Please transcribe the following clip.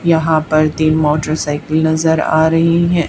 यहां पर तीन मोटरसाइकिल नजर आ रही है।